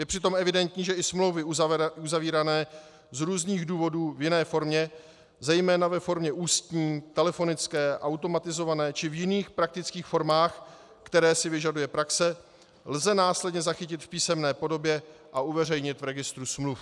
Je přitom evidentní, že i smlouvy uzavírané z různých důvodů v jiné formě, zejména ve formě ústní, telefonické, automatizované či v jiných praktických formách, které si vyžaduje praxe, lze následně zachytit v písemné podobě a uveřejnit v registru smluv.